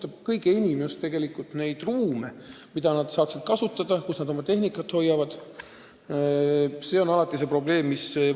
Vabatahtlike komandode kõige teravam probleem puudutab just neid ruume, mida nad saaksid kasutada, et oma tehnikat neis hoida.